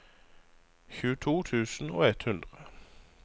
tjueto tusen og ett hundre